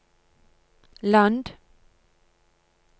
land